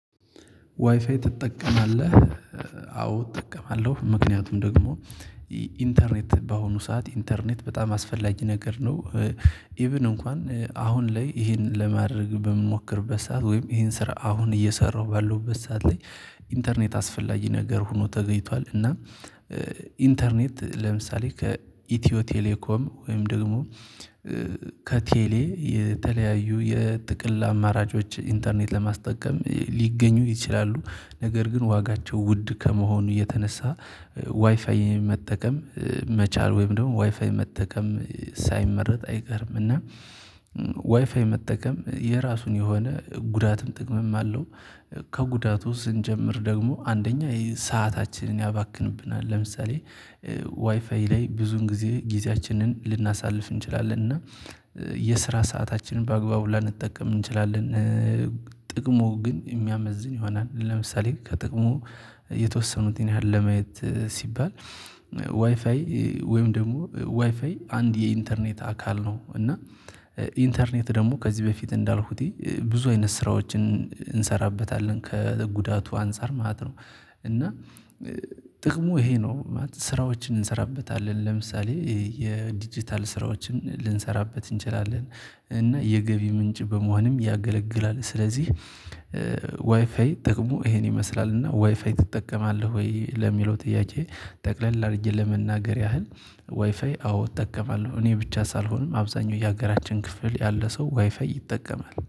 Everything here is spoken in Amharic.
ዋይፋይ ትጠቀማለህ? አዎ እጠቀማለሁ ምክንያቱም ደግሞ ኢንተርኔት በአሁኑ ሰዓት ኢንተርኔት በጣም አስፈላጊ ነገር ነው። ኢቭን እንኳን አሁን ላይ ይሄን ለማድረግ በምንሞክርበት ሰዓት ወይም ይሄን ስራ አሁን እየሰራሁ ባለሁበት ሰዓት ላይ ኢንተርኔት አስፈላጊ ነገር ሆኖ ተገኝቷል። እና ኢንተርኔት ለምሳሌ ከኢትዮ ቴሌኮም ወይም ደግሞ ከቴሌ የተለያዩ የጥቅል አማራጮች ኢንተርኔት ለማስጠቀም ሊገኙ ይችላሉ። ነገር ግን ዋጋቸው ውድ ከመሆኑ የተነሳ ዋይፋዬን መጠቀም መቻል ወይም ደግሞ ዋይፋይ መጠቀም ሳይመረጥ አይቀርም። እና ዋይፋይ መጠቀም የራሱ የሆነ ጉዳትም ጥቅምም አለው። ከጉዳቱ ስንጀምር ደግሞ አንደኛ ሰአታችንን ያባክንብናል ለምሳሌ ዋይፋይ ላይ ብዙን ጊዜ ጊዜያችንን ልናሳልፍ እንችላለን እና የስራ ሰአታችንን በአግባቡ ላንጠቀም እንችላለን። ጥቅሙ ግን የሚያመዝን ይሆናል። ለምሳሌ ከጥቅሙ የተወሰኑትን ያህል ለማየት ሲባል ዋይፋይ ወይም ደግሞ ዋይፋይ አንድ የኢንተርኔት አካል ነው እና ኢንተርኔት ደግሞ ከዚህ በፊት እንዳልኩት ብዙ አይነት ስራዎችን እንሰራበታለን። ከጉዳቱ አንፃር ማለት ነው። እና ጥቅሙ ይሄ ነው። ስራዎችን እንሰራበታለን ለምሳሌ የዲጂታል ስራዎችን ልንሰራበት እንችላለን እና የገቢ ምንጭ በመሆንም ያገለግላል። ስለዚህ ዋይፋይ ጥቅሙ ይሄን ይመስላል። እና ዋይፋይ ትጠቀማለህ ወይ ለሚለው ጥያቄ? ጠቅለል አድርጄ ለመናገር ያህል ዋይፋይ አዎ እጠቀማለሁ እኔ ብቻ ሳልሆንም አብዛኛው የሀገራችን ክፍል ያለ ሰው ዋይፋይ ይጠቀማል